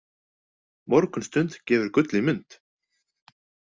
Morgunstund gefur gull í mund.